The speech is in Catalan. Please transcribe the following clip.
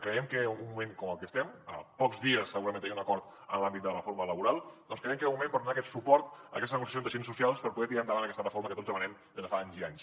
creiem que en un moment com el que estem a pocs dies segurament de tenir un acord en l’àmbit de la reforma laboral doncs creiem que era un moment per donar aquest suport a aquesta negociació entre agents socials per poder tirar endavant aquesta reforma que tots demanem des de fa anys i anys